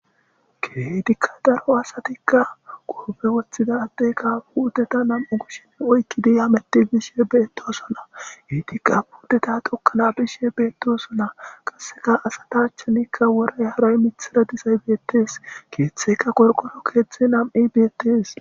keetikka daro asatikka goofe woththida attekka puuteta nam7u gushshin oykki diyaameti bishe beettosona heetikka puddeta xokkana bishe beettosona qasseka asata achchanikka wora yaaray mithara disay beettes keeththeka gorqoro keeththe nam7i beettees